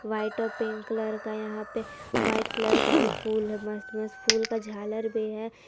White और pink colour का यहां पे वाइट कलर का भी फूल है मस्त मस्त फूल का झालर भी है।